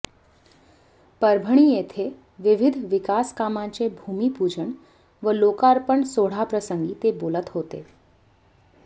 परभणी येथे विविध विकासकामांचे भूमीपुजन व लोकार्पण सोहळाप्रसंगी ते बोलत हेाते